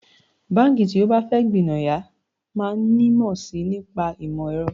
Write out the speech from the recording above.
Báǹkì tí ó bá fẹ́ gbìnàyá máa nímọ̀ sí i nípa ìmọ̀ ẹ̀rọ